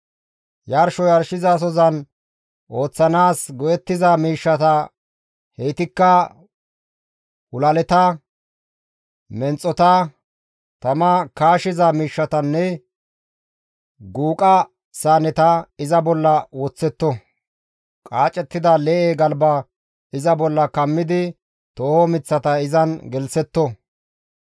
Yarsho yarshizasozan ooththanaas go7ettiza miishshata heytikka hulaleta, menxota, tama kaashiza miishshatanne guuqa saaneta iza bolla woththetto; qaacettida lee7e galba iza bolla kammidi tooho miththata izan gelththetto.